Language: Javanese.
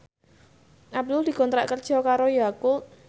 Abdul dikontrak kerja karo Yakult